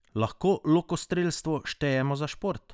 Lahko lokostrelstvo štejemo za šport?